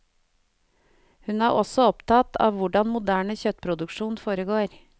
Hun er også opptatt av hvordan moderne kjøttproduksjon foregår.